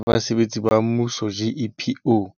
Monamodi wa Dipentjhele tsa Basebetsi ba Mmuso GEPO